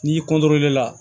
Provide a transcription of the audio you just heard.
N'i la